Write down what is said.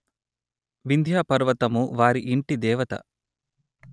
వింధ్యా పర్వతము వారి యింటిదేవత